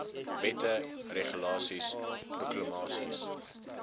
wette regulasies proklamasies